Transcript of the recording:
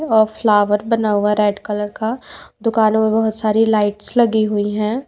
और फ्लावर बना हुआ है रेड कलर का दुकानों मे बहुत सारी लाइट्स लगी हुई है।